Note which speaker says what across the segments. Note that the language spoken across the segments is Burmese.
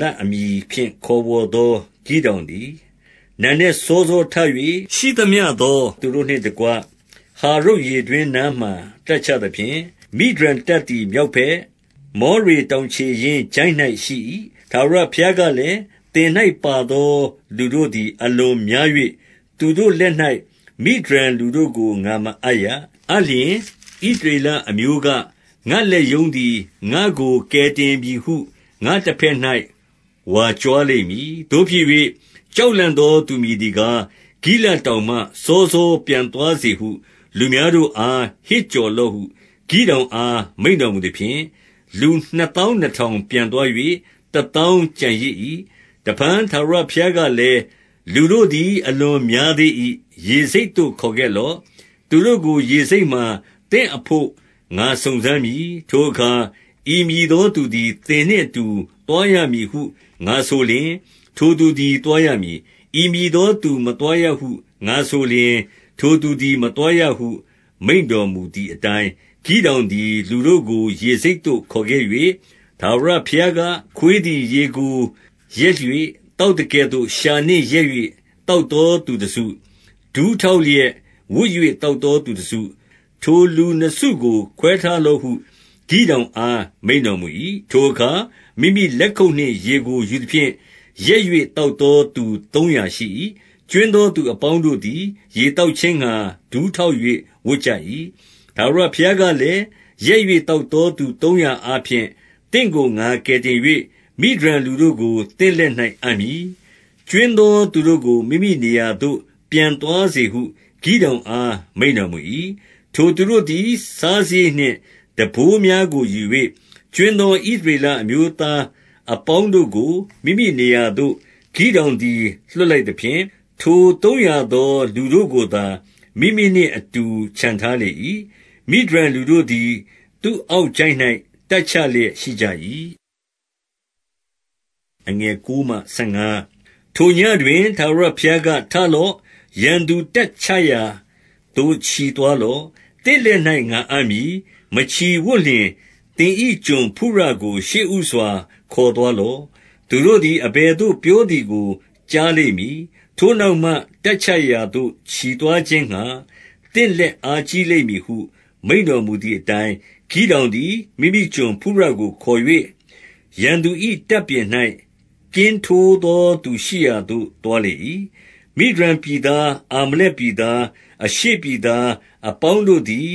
Speaker 1: လအမည်ဖြင့် ခေါ်ဝေါ်သော ဂိဒေါင်သည် နံနက်စောစောထ၍၊ ရှိသမျှသော သူတို့နှင့်တကွ ဟာရုတ်ရေတွင်းနားမှာ တပ်ချသဖြင့်၊ မိဒျန်တပ်သည် မြောက်ဘက်၊ မောရေတောင်ခြေရင်းချိုင့်၌ ရှိ၏။ 2 ထာဝရဘုရားကလည်း၊ သင်၌ပါသော လူတို့သည် အလွန်များ၍၊ သူတို့လက်၌ မိဒျန်လူတို့ကို ငါမအပ်ရ။ အပ်လျှင် ဣသရေလအမျိုးက၊ ငါ့လက်ရုံးသည် ငါ့ကိုကယ်တင်ပြီဟု ငါ့တဘက်၌ ဝါကြွား လိမ့်မည်။ 3 သို့ဖြစ်၍၊ ကြောက်လန့်သောသူ မည်သည်ကား၊ ဂိလဒ်တောင်မှ စောစော ပြန်သွားစေဟု လူများတို့ အား ဟစ်ကြော်လော့ဟု ဂိဒေါင်အား မိန့်တော်မူသဖြင့်၊ လူနှစ်သောင်းနှစ်ထောင် ပြန်သွား၍ တသောင်းကျန်ရစ်၏။ 4 တဖန် ထာဝရဘုရားကလည်း၊ လူတို့သည် အလွန်များသေး၏။ ရေဆိပ်သို့ ခေါ်ခဲ့လော့။ သူတို့ကို ရေဆိပ်မှာ သင့်အဘို့ ငါစုံစမ်းမည်။ ထိုအခါ ဤမည်သောသူသည် သင်နှင့်အတူ သွားရမည်ဟု ငါဆိုလျှင်၊ ထိုသူသည် သွားရမည်။ ဤမည်သော သူမသွားရဟု ငါဆိုလျှင် ထိုသူသည် မသွားရဟု မိန့်တော်မူသည်အတိုင်း၊ 5 ဂိဒေါင်သည် လူတို့ကို ရေဆိပ်သို့ ခေါ်ခဲ့၍၊ ထာဝရဘုရားက၊ ခွေးသည် ရေကိုလျက်၍ သောက်သကဲ့သို့ လျှာနှင့်လျက်၍ သောက်သောသူတစု၊ ဒူးထောက်လျက် ဝပ်၍ သောက်သောသူတစု၊ ထိုလူနှစ်စုကို ခွဲထားလော့ဟု ဂိဒေါင်အား မိန့်တော်မူ၏။ 6 ထိုအခါ မိမိလက်ခုပ်နှင့်ရေကို ယူသဖြင့် လျက်၍ သောက်သောသူ သုံးရာရှိ၏။ ကြွင်းသောသူအပေါင်း တို့သည် ရေသောက်ခြင်းငှါ ဒူးထောက်၍ ဝပ်ကြ၏။ 7 ထာဝရဘုရားကလည်း၊ လျက်၍ သောက်သောသူ သုံးရာအားဖြင့် သင့်ကို ငါကယ်တင်၍ မိဒျန်လူတို့ကို သင့်လက်၌အပ်မည်။ ကြွင်းသောသူတို့ကို မိမိနေရာသို့ ပြန်သွားစေဟု ဂိဒေါင်အား မိန့်တော်မူ၏။ 8 ထိုသူတို့သည် စားစရိတ်နှင့် တံပိုးများကို ယူ၍၊ ကြွင်းသော ဣသရေလအမျိုးသားအပေါင်းတို့ကို မိမိနေရာသို့ ဂိဒေါင်သည် လွှတ်လိုက်သဖြင့်၊ ထိုသုံးရာသော လူတို့ကိုသာ မိမိနှင့်အတူ ချန်ထားလေ၏။ မိဒျန်လူတို့သည် သူ့အောက်ချိုင့်၌ တပ်ချလျက် ရှိကြ၏။ 9 ထိုညဉ့်တွင် ထာဝရဘုရားက၊ ထလော့။ ရန်သူတပ်ချရာသို့ ချီသွားလော့။ သင့်လက်၌ ငါအပ်မည်။ 10 မချီဝံ့လျှင် သင်၏ ကျွန်ဖုရကို ရှေ့ဦးစွာ ခေါ်သွားလော့။ 11 သူတို့သည် အဘယ်သို့ ပြောသည်ကို ကြားလိမ့်မည်။ ထိုနောက်မှ တပ်ချရာသို့ ချီသွားခြင်းငှါ သင့်လက်အားကြီးလိမ့်မည်ဟု မိန့်တော်မူသည်အတိုင်း၊ ဂိဒေါင်သည် မိမိကျွန်ဖုရကို ခေါ်၍ ရန်သူ၏ တပ်ပြင်၌ ကင်းထိုးသော သူရှိရာသို့ သွားလေ၏။ 12 မိဒျန်ပြည်သား၊ အာမလက်ပြည်သား၊ အရှေ့ပြည်သားအပေါင်းတို့သည်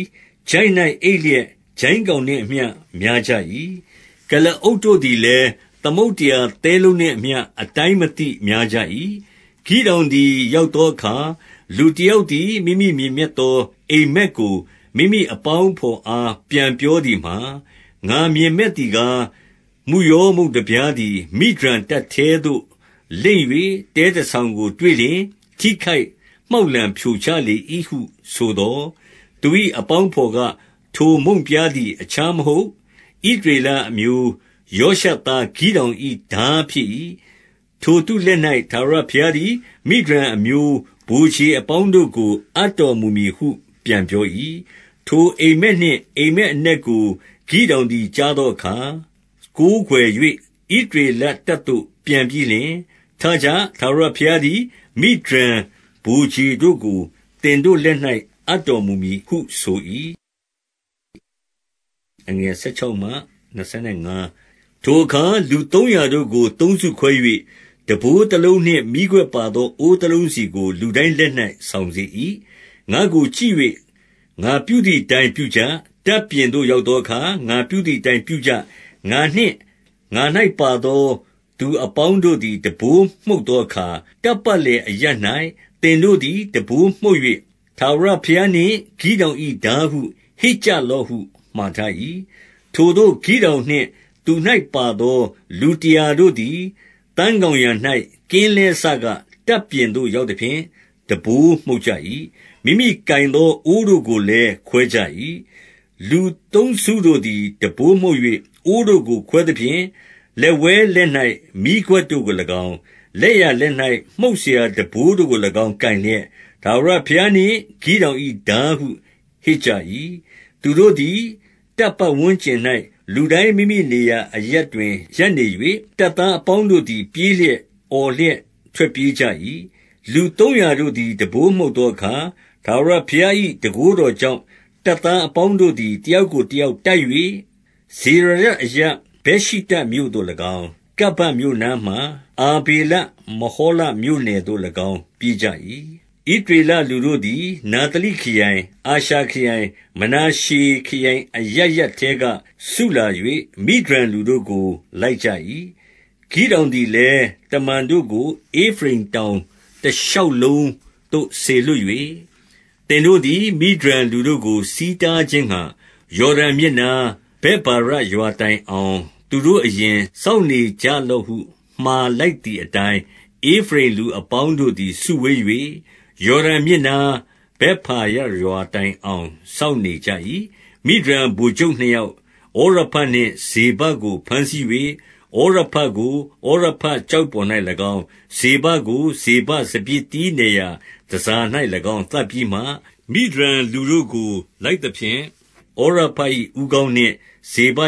Speaker 1: ချိုင့်၌အိပ်လျက်၊ ကျိုင်းကောင် နှင့်အမျှ များကြ၏။ ကုလားအုပ်တို့သည်လည်း၊ သမုဒ္ဒရာသဲလုံးနှင့်အမျှ အတိုင်းမသိ များကြ၏။ 13 ဂိဒေါင်သည် ရောက်သောအခါ၊ လူတယောက်သည် မိမိမြင်မက်သော အိပ်မက်ကို မိမိအပေါင်း အဘော်အား ပြန်ပြောသည်မှာ၊ ငါမြင်မက်သည်ကား၊ မုယောမုန့်တပြားသည် မိဒျန်တပ်ထဲသို့ လိမ့်၍ တဲတဆောင်ကို တွေ့လျှင်၊ ထိခိုက်မှောက်လှန် ဖြိုချလေ၏ဟု ဆိုသော်၊ 14 သူ၏အပေါင်းအဘော်က၊ ထိုမုန့်ပြားသည် အခြားမဟုတ် ဣသရေလအမျိုးယောရှသားဂိဒေါင်၏ ထားဖြစ်၏။ ထိုသူလက်၌ ဘုရားသခင်သည် မိဒျန်အမျိုး၊ မိဒျန်ဗိုလ်ခြေအပေါင်းကို အပ်တော်မူမည်ဟု ပြန်ပြော၏။ 15 ထိုအိပ်မက်နှင့် အိပ်မက်အနက်ကို ဂိဒေါင်သည် ကြားသောအခါ၊ ကိုးကွယ်၍ ဣသရေလတပ်သို့ ပြန်ပြီးလျှင်၊ ထကြ၊ ထာဝရဘုရားသည် မိဒျန်ဗိုလ်ခြေတို့ကို သင်တို့လက်၍ အပ်တော်မူမည်ဟု ဆို၏။ 16 ထိုအခါ လူသုံးရာတို့ကို သုံးစုခွဲ၍၊ တံပိုးတလုံးနှင့် မီးခွက်ပါသော အိုးတလုံးစီကို လူတိုင်းလက်၌ ဆောင်စေ၏။ 17 ငါ့ကို ကြည့်၍ ငါပြုသည်အတိုင်း ပြုကြ။ တပ်ပြင်သို့ ရောက်သောအခါ၊ ငါပြုသည်အတိုင်း ပြုကြ။ 18 ငါနှင့် ငါ၌ ပါသောသူအပေါင်းတို့သည် တံပိုးမှုတ်သောအခါ၊ တပ်ပတ်လည်အရပ်ရပ်၌ သင်တို့သည် တံပိုးမှုတ်၍၊ ထာဝရဘုရားနှင့် ဂိဒေါင်၏ ထားဟု ဟစ်ကြလော့ဟု မှာထား၏။ 19 ထိုသို့ ဂိဒေါင်နှင့် သူ၌ပါသော လူတရာတို့သည် သန်းခေါင်ယံ၌ ကင်းလဲစက တပ်ပြင်သို့ ရောက်သဖြင့် တံပိုးမှုတ်ကြ၏။ မိမိကိုင်သော အိုးတို့ကိုလည်း ခွဲကြ၏။ 20 လူသုံးစုတို့သည် တံပိုးမှုတ်၍ အိုးတို့ကို ခွဲသဖြင့် လက်ဝဲလက်၌ မီးခွက်တို့ကို၎င်း၊ လက်ျာလက်၌ မှုတ်စရာတံပိုးတို့ကို၎င်း ကိုင်လျက်၊ ထာဝရဘုရားနှင့် ဂိဒေါင်၏ထားဟု ဟစ်ကြ၏။ 21 သူတို့သည် တပ်ပတ်ဝန်းကျင်၌ လူတိုင်း မိမိနေရာအရပ်တွင် ရပ်နေ၍၊ တပ်သားအပေါင်းတို့သည် ပြေးလျက်၊ အော်လျက် ထွက်ပြေးကြ၏။ 22 လူသုံးရာတို့သည် တံပိုးမှုတ်သောအခါ၊ ထာဝရဘုရား၏ တန်ခိုးတော်ကြောင့်၊ တပ်သားအပေါင်း တို့သည် တယောက်ကိုတယောက်တိုက်၍၊ ဇေရရတ်အရပ် ဗက်ရှိတ္တမြို့သို့၎င်း၊ တဗ္ဗတ်မြို့နားမှာ အာဗေလမဟောလမြို့နယ်သို့၎င်း ပြေးကြ၏။ 23 ဣသရေလလူတို့သည် နဿလိခရိုင်၊ အာရှာခရိုင်၊ မနာရှေခရိုင် အရပ်ရပ်ထဲက စုလာ၍၊ မိဒျန်လူ တို့ကို လိုက်ကြ၏။ 24 ဂိဒေါင်သည်လည်း၊ တမန်တို့ကို ဧဖရိမ်တောင်တရှောက်လုံးသို့ စေလွှတ်၍၊ သင်တို့သည် မိဒျန်လူတို့ကို ဆီးတားခြင်းငှါ ယော်ဒန်မြစ်နား၊ ဗက်ဗာရရွာတိုင်အောင် သူတို့အရင် စောင့်နေကြလော့ဟု မှာလိုက် သည်အတိုင်း၊ ဧဖရိမ်လူအပေါင်းတို့သည် စုဝေး၍၊ ယော်ဒန်မြစ်နား၊ ဗက်ဗာရရွာတိုင်အောင် စောင့်နေကြ၏။ 25 မိဒျန်ဗိုလ်ချုပ်နှစ်ယောက်၊ ဩရဘနှင့် ဇေဘကို ဘမ်းဆီး၍၊ ဩရဘကို ဩရဘကျောက်ပေါ်၌၎င်း၊ ဇေဘကို ဇေဘကို ဇေဘစပျစ်သီးနယ်ရာ တန်ဆာ၌၎င်း သတ်ပြီးမှ၊ မိဒျန်လူတို့ကို လိုက်သဖြင့်၊ ဩရဘ၏ဦးခေါင်းနှင့် ဇေဘ